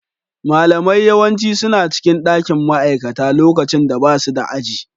Malamai yawanci suna cikin dakin ma'aikata lokacin da basu da aji.